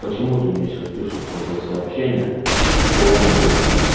почему ты мне сейчас пишешь тогда сообщение что он мол